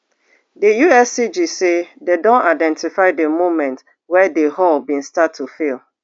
di uscg say dem don identify di moment wey di hull bin start to fail